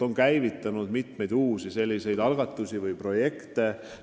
On käivitunud mitmeid uusi algatusi või projekte.